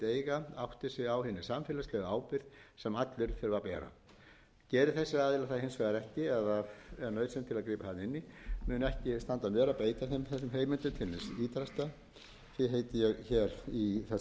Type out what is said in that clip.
til að grípa þarna inn í og mun ekki standa á mér að beita þessum heimildum til hins ýtrasta því heiti ég hér í þessu